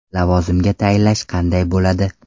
Lavozimga tayinlash qanday bo‘ladi?